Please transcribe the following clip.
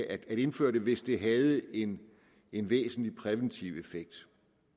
at indføre det hvis det havde en en væsentlig præventiv effekt